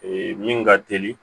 min ka teli